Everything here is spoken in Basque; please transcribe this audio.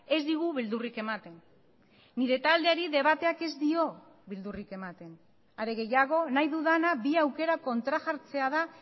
ez digu beldurrik ematen nire taldeari debateak ez dio beldurrik ematen are gehiago nahi dudana bi aukera kontrajartzea da